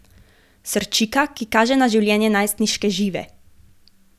Srčika, ki kaže na življenje najstniške Žive.